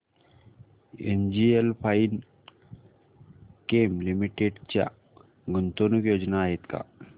NGL Finechem limited च्या गुंतवणूक योजना आहेत का